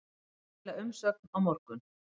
Skila umsögn á morgun